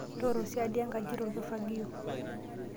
Tooro siadi enkaji te orkifagio.